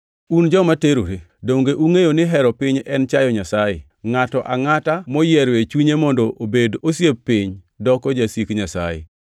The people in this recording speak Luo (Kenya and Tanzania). Un joma terore! Donge ungʼeyo ni hero piny en chayo Nyasaye? Ngʼato angʼata moyiero e chunye mondo obed osiep piny doko jasik Nyasaye.